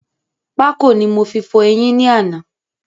Pákò ni mo fi fọ̀ eyín ní àná